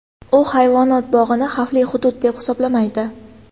U hayvonot bog‘ini xavfli hudud deb hisoblamaydi.